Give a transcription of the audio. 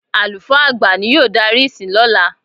Àlùfáà àgbà ni yóò darí ìsìn lọ́la.